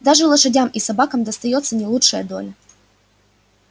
даже лошадям и собакам достаётся не лучшая доля